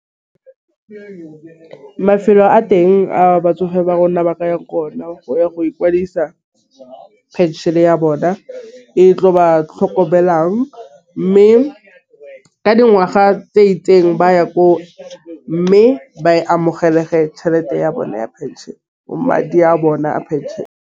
Mafelo a teng a batsofe ba rona ba ka ya ko ona go ya go ikwadisa phenšene ya bona e tlo ba tlhokomelang, mme ka dingwaga tse itseng ba ya ko. Mme ba e amogele ge tšhelete ya bone ya pension madi a bona a phenšene.